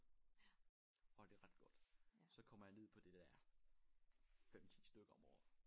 Og det ret godt så kommer jeg ned på det der 5 10 stykker om året